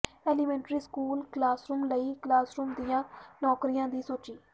elementary school classroom ਲਈ classroom ਦੀਆਂ ਨੌਕਰੀਆਂ ਦੀ ਸੂਚੀ